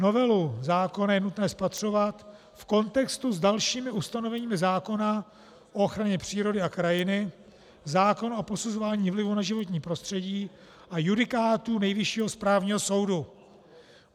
Novelu zákona je nutné spatřovat v kontextu s dalšími ustanoveními zákona o ochraně přírody a krajiny, zákona o posuzování vlivu na životní prostředí a judikátu Nejvyššího správního soudu.